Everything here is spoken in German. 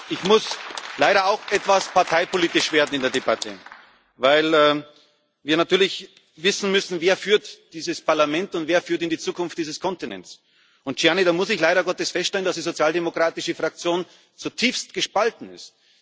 Ich muss leider auch etwas parteipolitisch werden in der Debatte, weil wir natürlich wissen müssen, wer dieses Parlament führt und wer in die Zukunft dieses Kontinents führt. Und Gianni, da muss ich leider Gottes feststellen, dass die sozialdemokratische Fraktion zutiefst gespalten ist.